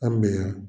An bɛ yan